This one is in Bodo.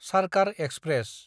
सार्कार एक्सप्रेस